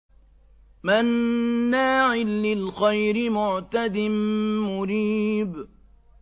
مَّنَّاعٍ لِّلْخَيْرِ مُعْتَدٍ مُّرِيبٍ